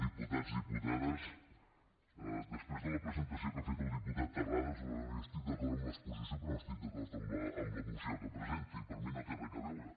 diputats diputades després de la presentació que ha fet el diputat terrades jo estic d’acord amb l’exposició però no estic d’acord amb la moció que presenta i per mi no hi té res a veure